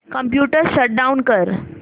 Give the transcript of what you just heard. computer shut down कर